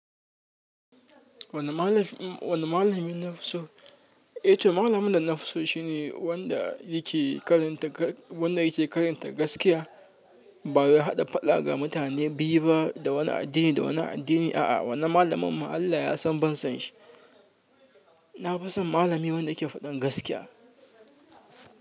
Wani malamina na fusso, eh to malamin da na fusso shine wanda yake karanta, wanda yake karanta gaskiya. Ba ya haɗa faɗa ga mutane biyu ba da wani addini da wani addini. A'a, wannan malamin ma Allah ya san ban san shi. Na fi son malami wanda ke faɗin gaskiya.